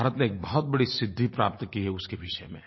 भारत ने एक बहुत बड़ी सिद्धि प्राप्त की है उसके विषय में